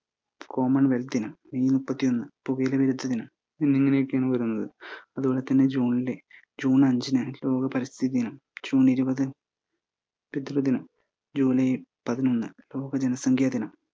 common wealth ദിനം. May മുപ്പത്തിയൊന്ന് പുകയില വിരുദ്ധ ദിനം എന്നിങ്ങനെയൊക്കെയാണ് വരുന്നത്. അതുപോലെതന്നെ ജൂണില് ജൂൺ അഞ്ചിന് ലോക പരിസ്ഥിതി ദിനം, ജൂൺ ഇരുപത് കെട്ടിട ദിനം, ജൂലൈ പതിനൊന്ന് ലോക ജനസംഖ്യ ദിനം